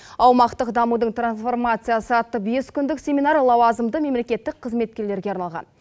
аумақтық дамудың трансформациясы атты бес күндік семинар лауазымды мемлекеттік қызметкерлерге арналған